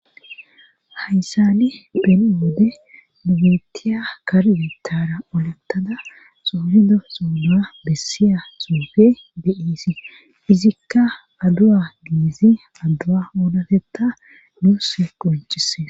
hayssani pen7woode nugitiya karyutara olottada soobido soonua bessiya xuufe de7iisi izikka adu7a giizi addua oolateta nuus qunchise